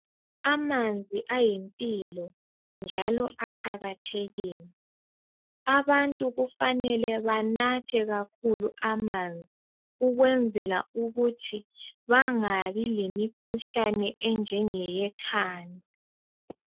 Amanzi ayimpilo njalo aqakathekile. Abantu kufanele banathe kakhulu amanzi, ukukwenzela ukuthi bangabi lemikhuhlane enjenge yekhanda.